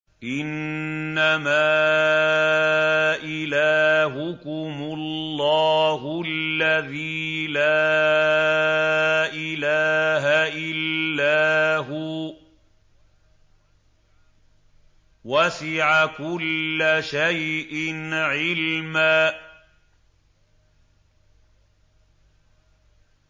إِنَّمَا إِلَٰهُكُمُ اللَّهُ الَّذِي لَا إِلَٰهَ إِلَّا هُوَ ۚ وَسِعَ كُلَّ شَيْءٍ عِلْمًا